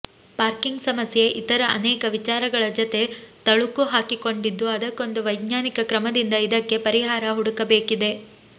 parking ಸಮಸ್ಯೆ ಇತರ ಅನೇಕ ವಿಚಾರಗಳ ಜತೆ ತಳುಕು ಹಾಕಿಕೊಂಡಿದ್ದು ಅದಕ್ಕೊಂದು ವೈಜ್ಞಾನಿಕ ಕ್ರಮದಿಂದ ಇದಕ್ಕೆ ಪರಿಹಾರ ಹುಡುಕಬೇಕಿದೆ